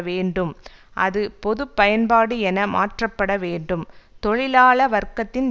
வேண்டும் அது பொது பயன்பாடு என மாற்றப்பட வேண்டும் தொழிலாள வர்க்கத்தின்